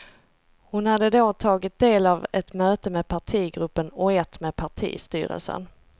Hon hade då tagit del av ett möte med partigruppen och ett med partistyrelsen.